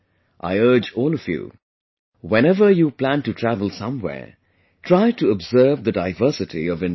I urge all of you ... whenever you plan to travel somewhere, try to observe the diversity of India